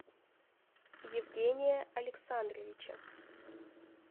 евгения александровича